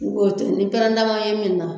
ni pɛrɛnda ma ye min na